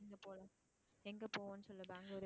எங்க போவோம்னு சொல்லு. பெங்களூர்